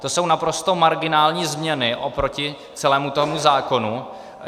To jsou naprosto marginální změny oproti celému tomu zákonu.